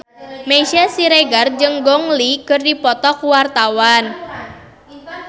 Meisya Siregar jeung Gong Li keur dipoto ku wartawan